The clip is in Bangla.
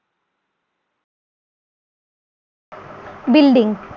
বিল্ডিং